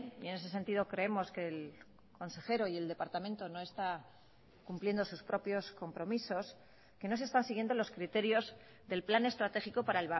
y en ese sentido creemos que el consejero y el departamento no está cumpliendo sus propios compromisos que no se están siguiendo los criterios del plan estratégico para